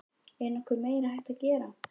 Er nokkuð meira hægt að gera?